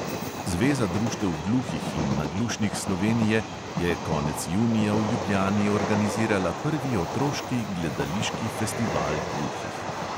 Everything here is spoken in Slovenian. Zveza društev gluhih in naglušnih slovenije je konec junija v ljubljani organizirala prvi otroški gledališki festival gluhih.